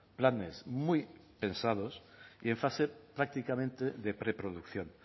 planes muy pensados y en fase prácticamente de preproducción